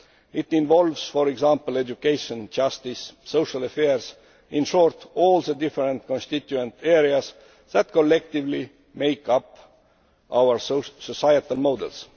It involves, for example, education, justice and social affairs in short, all the different constituent areas that collectively make up our societal models.